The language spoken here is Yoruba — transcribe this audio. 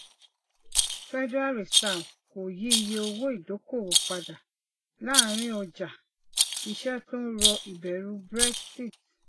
federal reserve kò yí iye owó ìdókòwò padà láàrín ọjà iṣẹ tó ń rọ ìbẹrù brexit